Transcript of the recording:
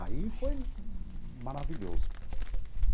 Aí foi maravilhoso.